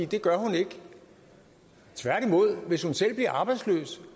det gør hun ikke tværtimod hvis hun selv bliver arbejdsløs